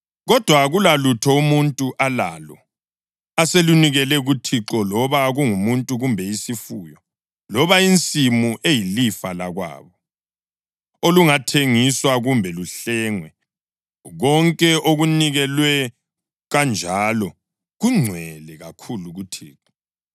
Kodwa akulalutho umuntu alalo aselunikele kuThixo loba kungumuntu kumbe isifuyo, loba insimu eyilifa lakwabo, olungathengiswa kumbe luhlengwe; konke okunikelwe kanjalo kungcwele kakhulu kuThixo.